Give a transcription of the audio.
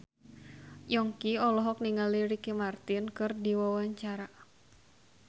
Yongki olohok ningali Ricky Martin keur diwawancara